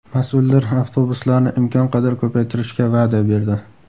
Mas’ullar avtobuslarni imkon qadar ko‘paytirishga va’da berdi.